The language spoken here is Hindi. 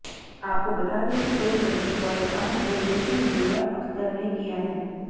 आपको बता दें कि फिल्म गली बॉय का निर्देशन जोया अख्तर ने किया है